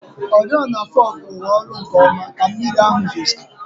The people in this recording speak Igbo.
Oriọna fọgụ rụrụ ọrụ nkeọma ka mmiri ahụ zochara.